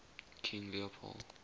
king leopold